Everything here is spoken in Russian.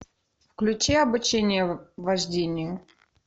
включи обучение вождению